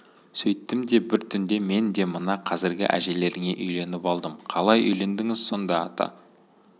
сөйттім де бір түнде мен де мына қазіргі әжелеріңе үйленіп алдым қалай үйлендіңіз сонда ата